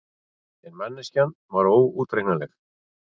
En manneskjan var óútreiknanleg.